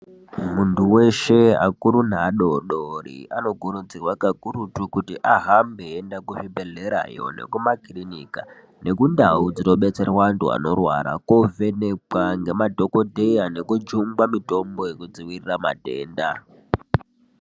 Mundau weshe vakuru nevadodori ano kurudzirwa kakurutu kuti ahambe eyienda kuzvibhedhlera neku makirinika nekundau dzinobatsirwa antu anorwara kovhenekwa nemadhokodheya nekujungwa mitombo yekudzivirira matenda.